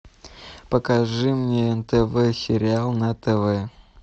покажи мне нтв сериал на тв